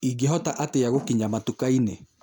ingĩhota atĩa gũkinya matukainĩ